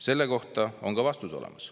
Selle kohta on ka vastus olemas. "